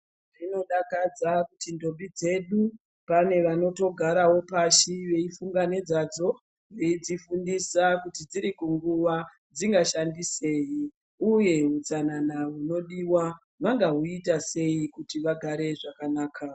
Zvinodakadza kuti mbiti dzedu pane vamotogarawo pashi veifunda nezvadzo veifundira kunguwa zvinoshandisei uye utsanna unodiwa ugare zvakanaka.